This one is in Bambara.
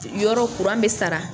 Yɔrɔ kuran bɛ sara